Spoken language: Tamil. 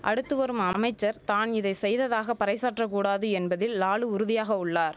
அடுத்து வரும் அமைச்சர் தான் இதை செய்ததாக பறைசாற்றக்கூடாது என்பதில் லாலு உறுதியாக உள்ளார்